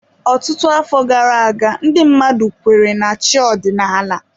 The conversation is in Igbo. Ọtụtụ afọ gara aga ndị mmadụ kweere na chi ọdịnala.